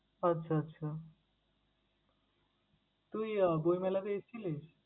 আচ্ছা আচ্ছা তুই আহ বইমেলাতেই ছিলিস?